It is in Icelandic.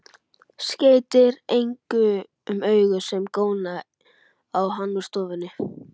Skeytir engu um augu sem góna á hann úr stofunni.